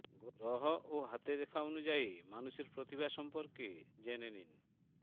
গ্রহ ও হাতের রেখা অনুযায়ী মানুষের প্রতিভা সম্পর্কে জেনে নিন